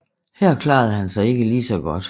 Her klarede han sig ikke lige så godt